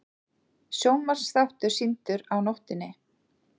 Sjónvarpsþáttur sýndur á nóttinni